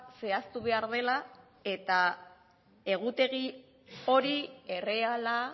zehaztu behar dela eta egutegi hori erreala